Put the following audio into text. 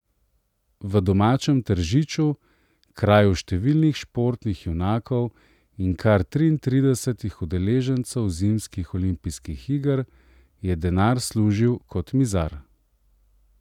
V domačem Tržiču, kraju številnih športnih junakov in kar triintridesetih udeležencev zimskih olimpijskih iger, je denar služil kot mizar.